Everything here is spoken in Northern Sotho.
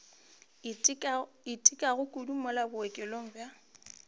itekago kudu mola bookelong bja